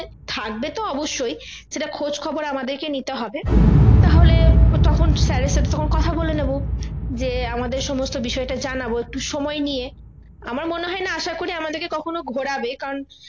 থাকবে তো অবশ্যই সেটা খোঁজ খবর আমাদেরকে নিতে হবে তাহলে তখণ sir এর সাথে তখন কথা বলে নেবো যে আমাদের সমস্ত বিষয়টা জানাবো একটু সময় নিয়ে আমার মনে হয় না আশা করি আমাদেরকে কখনো ঘোরাবে কারণ